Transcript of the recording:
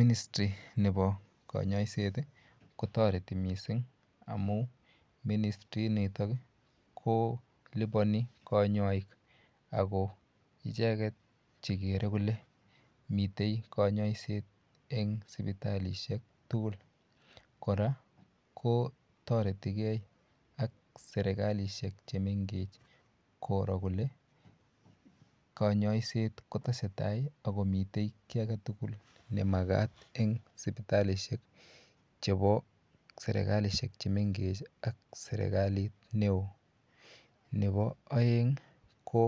Ministry nepo konyoiset kotoreti mising amu ministri nitok ko lipani kanyoik ako icheket chekere kole mitei konyoiset eng sipitalishek tukul kora ko toretikei ak serikalishek chemengech koro kole konyoiset kotesetai akomitei kiy age tugul nemakat eng sipitalishek chebo serikalishek chemengech ak serikalit neo nebo oeng ko